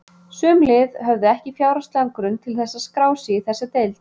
Sum lið höfðu ekki fjárhagslegan grunn til að skrá sig í þessa deild.